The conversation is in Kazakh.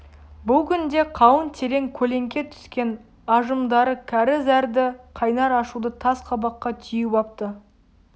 бұл күнде қалың терең көлеңке түскен ажымдары кәрі зәрді қайнар ашуды тас қабаққа түйіп апты